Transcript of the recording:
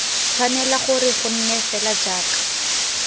tshwanela gore gonne fela jaaka